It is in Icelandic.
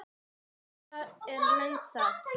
Svo er löng þögn.